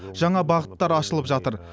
жаңа бағыттар ашылып жатыр